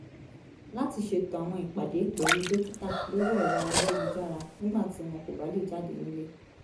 láti ṣètò àwọn ìpàdé pẹ̀lú dókítà lórí ẹ̀rọ ayélujára nígbà tí wọn kò bá lè jáde nílé